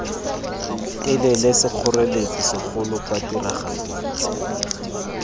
telele sekgoreletsi segolo kwa tiragatsong